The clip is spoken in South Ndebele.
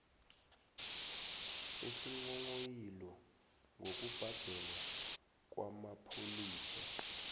isinghonghoyilo ngokubhalelwa kwamapholisa